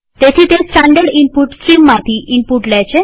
તેથી તે standard input સ્ટ્રીમમાંથી ઈનપુટ લે છે